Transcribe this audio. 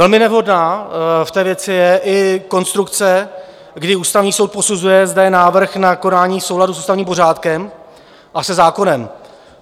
Velmi nevhodná v té věci je i konstrukce, kdy Ústavní soud posuzuje zde návrh na konání souladu s ústavním pořádkem a se zákonem.